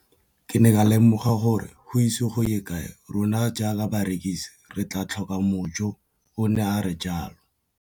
Ke ne ka lemoga gore go ise go ye kae rona jaaka barekise re tla tlhoka mojo, o ne a re jalo.